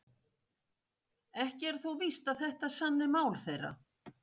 Ekki er þó víst að þetta sanni mál þeirra.